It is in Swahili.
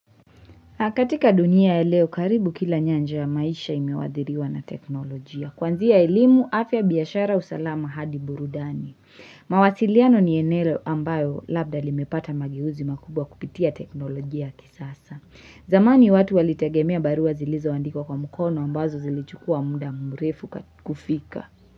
Katika dunia ya leo, karibu kila nyanja ya maisha imewadhiriwa na teknolojia. Kwanzia elimu, afya biashara usalama hadi burudani. Mawasiliano ni enele ambayo labda limepata magehuzi makubwa kupitia teknolojia kisasa. Zamani watu walitegemea barua zilizo wandiko kwa mukono ambazo zilichukua muda mrefu kufika.